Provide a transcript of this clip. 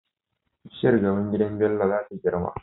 Bishiyar gaban gidan Bello zata girma